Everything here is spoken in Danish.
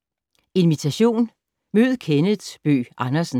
Invitation: Mød Kenneth Bøgh Andersen